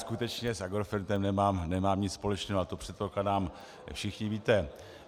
Skutečně s Agrofertem nemám nic společného a to, předpokládám, všichni víte.